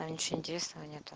там ничего интересного нету